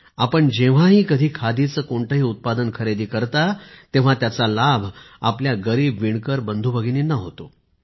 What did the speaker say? आपण जेव्हाही कधी खादीचे कोणतेही उत्पादन खरेदी करता तेव्हा त्याचा लाभ आपल्या गरीब वीणकर बंधूभगिनींना होतो